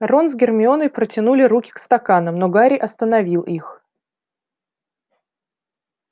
рон с гермионой протянули руки к стаканам но гарри остановил их